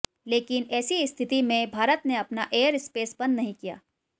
लेकिन ऐसी स्थिति में भारत ने अपना एयर स्पेस बंद नहीं किया